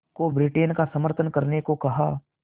को ब्रिटेन का समर्थन करने को कहा